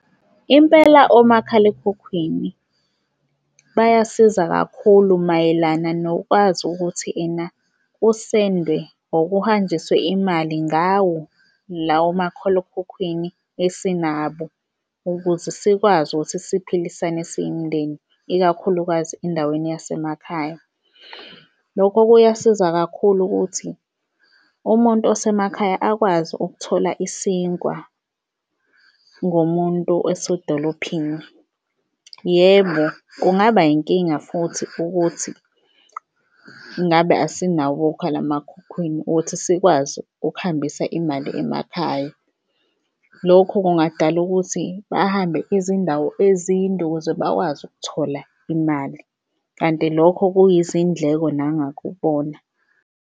Impela omakhalekhukhwini bayasiza kakhulu mayelana nokwazi ukuthi ena kusende or kuhanjiswe imali ngawo lawo makhalekhukhwini esinabo, ukuze sikwazi ukuthi siphilisane siyimindeni, ikakhulukazi endaweni yasemakhaya. Lokho kuyasiza kakhulu ukuthi umuntu osemakhaya akwazi ukuthola isinkwa ngomuntu esedolophini. Yebo, kungaba inkinga futhi ukuthi ngabe asinabo okhalemakhukhwini ukuthi sikwazi ukuhambisa imali emakhaya. Lokho kungadala ukuthi bahambe izindawo ezinde ukuze bakwazi ukuthola imali, kanti lokho kuyizindleko nangakubona.